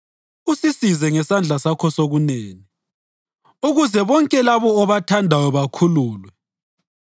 Sisindise, usisize ngesandla sakho sokunene, ukuze bonke labo obathandayo bakhululwe.